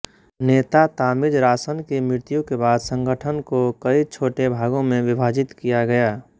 नेता तामिज़रासन की मृत्यु के बाद संगठन को कई छोटे भागों में विभाजित किया गया